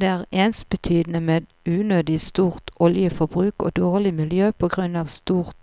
Det er ensbetydende med unødig stort oljeforbruk og dårlig miljø på grunn av stort